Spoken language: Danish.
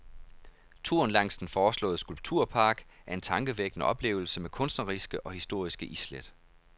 Turen langs den foreslåede skulpturpark er en tankevækkende oplevelse med kunstneriske og historiske islæt.